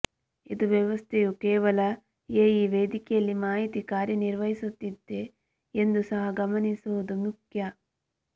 ಇದು ವ್ಯವಸ್ಥೆಯು ಕೇವಲ ಎಇ ವೇದಿಕೆಯಲ್ಲಿ ಮಾಹಿತಿ ಕಾರ್ಯನಿರ್ವಹಿಸುತ್ತಿದೆ ಎಂದು ಸಹ ಗಮನಿಸುವುದು ಮುಖ್ಯ